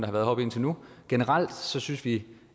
heroppe indtil nu generelt synes vi